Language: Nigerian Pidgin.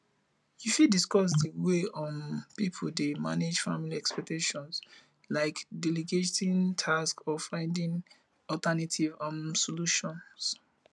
you fit discuss di way um people dey manage family expectations like delegating tasks or finding alternative um solutions